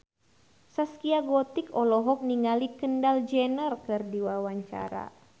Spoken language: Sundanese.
Zaskia Gotik olohok ningali Kendall Jenner keur diwawancara